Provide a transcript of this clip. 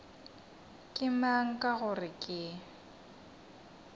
ke mang ka gore ke